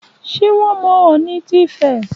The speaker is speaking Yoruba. Ṣé wón mọ Ọ̀ọ̀nì ti Ifẹ̀